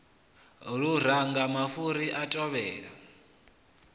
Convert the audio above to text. luranga mafhuri a a tevhela